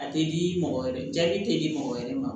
A tɛ di mɔgɔ wɛrɛ ma jaabi tɛ di mɔgɔ wɛrɛ ma